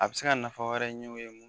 A be se ka nafa wɛrɛ ɲɛ u ye